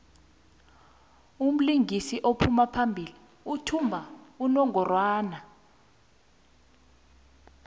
umlingisi ophambili uthumba unongorwand